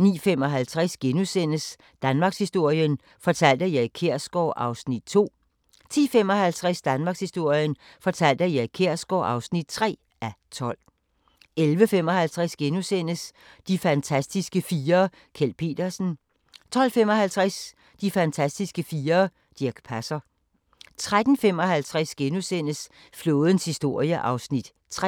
09:55: Danmarkshistorien fortalt af Erik Kjersgaard (2:12)* 10:55: Danmarkshistorien fortalt af Erik Kjersgaard (3:12) 11:55: De fantastiske fire: Kjeld Petersen * 12:55: De fantastiske fire: Dirch Passer 13:55: Flådens historie (3:7)*